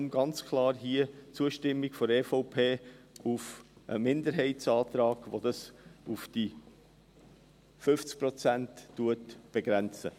Deshalb ganz klar Zustimmung seitens der EVP zum Minderheitsantrag, welcher dies auf 50 Prozent begrenzt.